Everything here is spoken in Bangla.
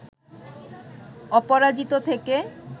অপরাজিত থেকে